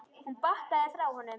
Hún bakkaði frá honum.